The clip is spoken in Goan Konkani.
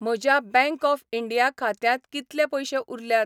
म्हज्या बॅंक ऑफ इंडिया खात्यांत कितले पयशे उरल्यात?